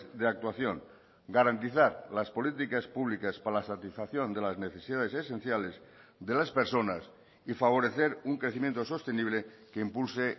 de actuación garantizar las políticas públicas para la satisfacción de las necesidades esenciales de las personas y favorecer un crecimiento sostenible que impulse